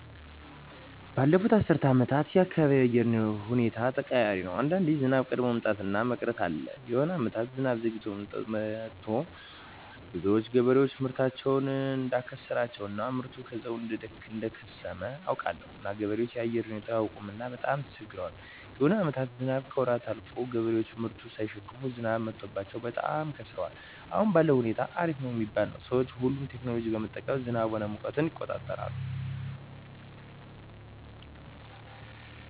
ባለፋት አስር አመታት የአካባቢው የአየር ሁኔታዎች ተቀያሪ ነው አንዳንዴ ዝናብ ቀድሞ መምጣት እና መቅረት አለ የሆነ አመታት ዝናብ ዘግይቶ መጥቱ ብዙዎች ገበሬዎች ምርታቸውን እዳከሰራቸው እና ምርቱ ከዛው እደከሰመ አውቃለሁ እና ገበሬዎች የአየር ሁኔታው አያውቅምና በጣም ተቸግረዋል የሆነ አመታትም ዝናብ ከወራት አልፎ ገበሬዎች ምርቱን ሳይሸክፋ ዝናብ መትቶባቸው በጣም ከስረዋል አሁን ባለዉ ሁኔታ አሪፍ ነው ሚባል ነው ሰዎች ሁሉ ቴክኖሎጂ በመጠቀም ዝናብ ሆነ ሙቀትን ይቆጠራል